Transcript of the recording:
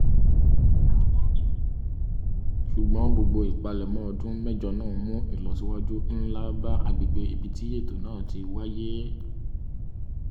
ṣùgbọ́n gbogbo ìpalẹ̀mọ́ ọdún mẹ́jọ náà mú ilọsíwájú nlá bá agbègbè ibi tí ètò náà ti wáíyé